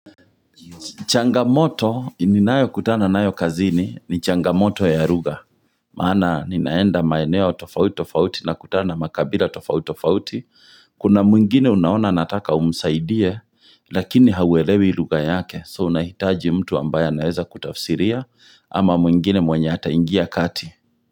Changamoto ni nayo kutana nayo kazini ni changamoto ya ruga Maana ninaenda maeneo tofauti tofauti nakutana makabila tofauti tofauti h Kuna mwingine unaona anataka umsaidie lakini hauwelewi ruga yake So unahitaji mtu ambaye anaweza kutafusiria ama mwingine mwenye hataingia kati.